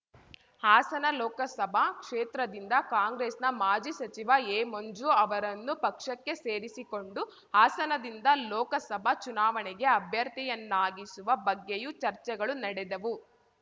ಹಾಸನ ಲೋಕಸಭಾ ಕ್ಷೇತ್ರದಿಂದ ಕಾಂಗ್ರೆಸ್‌ನ ಮಾಜಿ ಸಚಿವ ಎ ಮಂಜು ಅವರನ್ನು ಪಕ್ಷಕ್ಕೆ ಸೇರಿಸಿಕೊಂಡು ಹಾಸನದಿಂದ ಲೋಕಸಭಾ ಚುನಾವಣೆಗೆ ಅಭ್ಯರ್ಥಿಯನ್ನಾಗಿಸುವ ಬಗ್ಗೆಯೂ ಚರ್ಚೆಗಳು ನಡೆದವು